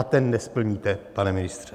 A ten nesplníte, pane ministře.